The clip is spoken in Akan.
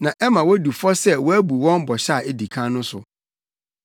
na ɛma wodi fɔ sɛ wɔabu wɔn bɔhyɛ a edi kan no so.